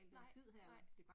Nej. Nej